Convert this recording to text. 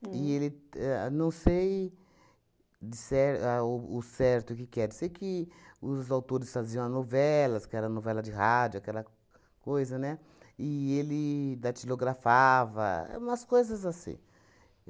E ele ahn não sei dizer ao o certo, o que que era, eu sei que os autores faziam a novelas, que era novela de rádio, aquela coisa, né, e ele datilografava, umas coisas assim.